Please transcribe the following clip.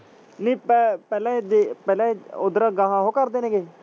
ਨਹੀਂ ਪ ਪਹਿਲਾਂ ਜੇ ਪਹਿਲਾਂ ਉੱਧਰੋਂ ਅਗਾਂਹ ਉਹ ਕਰਦੇ ਨੇ ਗੇ।